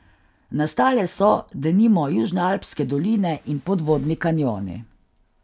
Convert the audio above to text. Nastale so, denimo, južnoalpske doline in podvodni kanjoni.